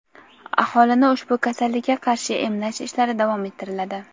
aholini ushbu kasallikka qarshi emlash ishlari davom ettiriladi.